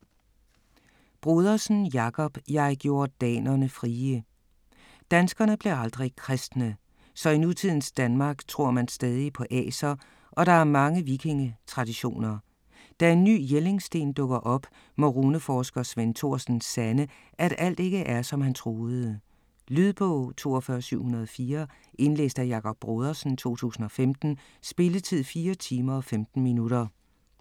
Brodersen, Jakob: Jeg gjorde danerne frie Danskerne blev aldrig kristne. Så i nutidens Danmark tror man stadig på aser og der er mange vikingetraditioner. Da en ny Jellingsten dukker op, må runeforsker Svend Thorsen sande, at alt ikke er som han troede. Lydbog 42704 Indlæst af Jakob Brodersen, 2015. Spilletid: 4 timer, 15 minutter.